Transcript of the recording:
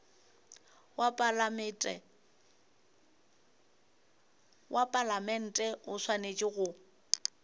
wa palamente o swanetše go